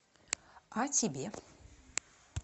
а тебе